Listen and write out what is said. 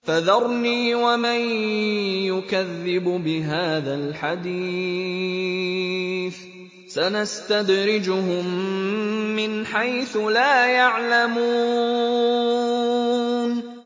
فَذَرْنِي وَمَن يُكَذِّبُ بِهَٰذَا الْحَدِيثِ ۖ سَنَسْتَدْرِجُهُم مِّنْ حَيْثُ لَا يَعْلَمُونَ